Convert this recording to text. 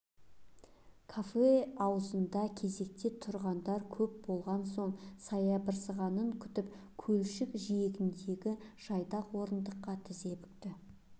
кафе аузында кезекте тұрғандар көп болған соң саябырсығанын күтіп көлшік жиегіндегі жайдақ орындыққа тізе бүкті